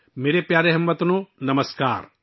میرے پیارے ہم وطنو، نمسکار